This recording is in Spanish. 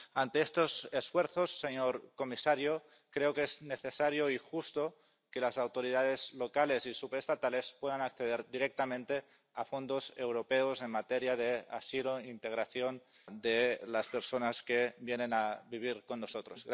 Ante estos esfuerzos, señor comisario, creo que es necesario y justo que las autoridades locales y subestatales puedan acceder directamente a fondos europeos en materia de asilo e integración de las personas que vienen a vivir con nosotros.